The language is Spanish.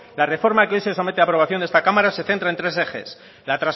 la reforma que hoy se somete a aprobación en esta cámara se centra en tres ejes